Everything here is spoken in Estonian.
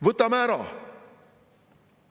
Võtame ära!